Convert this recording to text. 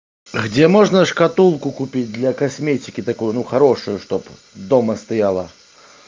где можно шкатулку купить для косметики такую ну хорошую чтобы дома стояла